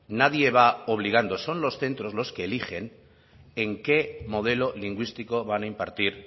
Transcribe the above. nadie va obligando son los centros los que eligen en qué modelo lingüístico van a impartir